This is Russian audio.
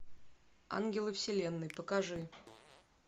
ангелы вселенной покажи